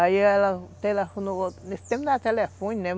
Aí ela telefonou... Nesse tempo não era telefone, né?